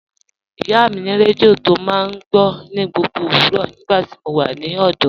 Ìyá mi ni rẹdíò tí o máa ń gbọ̀ ní gbogbo owurọ́ nígbàtí mó wà ní ọ̀dọ̀.